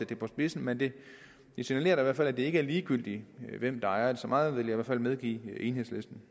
det på spidsen men det signalerer da fald at det ikke er ligegyldigt hvem der ejer det så meget vil i hvert fald medgive enhedslisten